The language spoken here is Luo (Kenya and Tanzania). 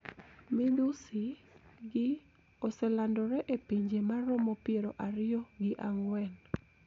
Midhusi gi oselandore e pinje maromo pier ariyo gi ang`wen